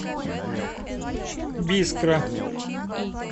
бискра